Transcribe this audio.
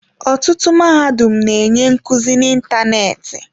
Ọtụtụ mahadum na-enye nkuzi n'ịntanetị.